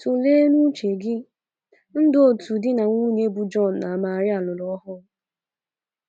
Tụlee n' uche gị, ndụ otu di na nwunye bụ John na Maria lụrụ ọhụrụ